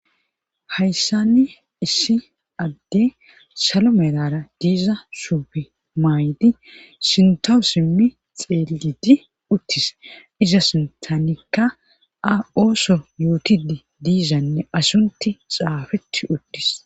hayssanni issi adde salo melara diza shuube maaydi sintawu simmi xeelidi uttis iza sintanikka a ooso yuutidi diizanne asunti xaafetti uttis